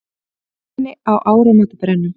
Fjölmenni á áramótabrennum